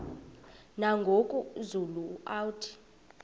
nangoku zulu uauthi